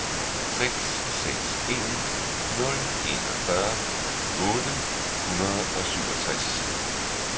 seks seks en nul enogfyrre otte hundrede og syvogtres